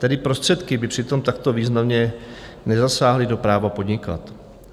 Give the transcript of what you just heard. Tedy prostředky by přitom takto významně nezasáhly do práva podnikat.